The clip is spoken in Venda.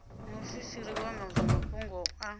muofisiri wa zwa mafhungo a